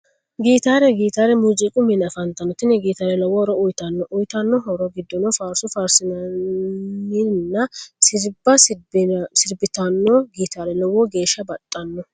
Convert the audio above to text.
Gitaare, gitaare muuzziiqu mine afantanno, tini gitaare lowo horo uuyitano uyitano horo gidono faariso faarsitanorinna siriba siribitanori gitaare lowo geesha baxxano